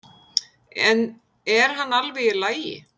En er hann alveg í lagi?